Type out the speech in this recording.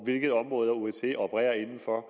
hvilke områder osce opererer inden for